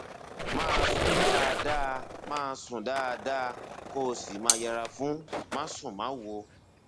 máa sùn dáadáa máa sùn dáadáa kó o sì máa yẹra fún másùnmáwo